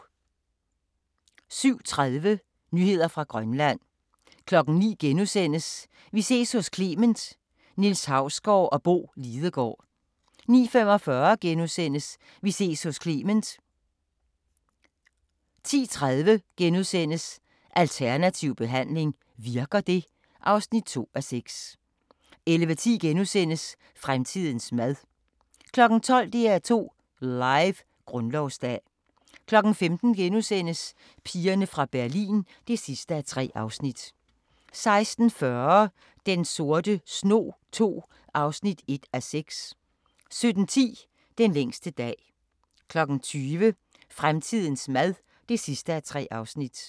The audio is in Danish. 07:30: Nyheder fra Grønland 09:00: Vi ses hos Clement: Niels Hausgaard og Bo Lidegaard * 09:45: Vi ses hos Clement * 10:30: Alternativ behandling – virker det? (2:6)* 11:10: Fremtidens mad (2:3)* 12:00: DR2 Live: Grundlovsdag 15:00: Pigerne fra Berlin (3:3)* 16:40: Den sorte snog II (1:6) 17:10: Den længste dag 20:00: Fremtidens mad (3:3)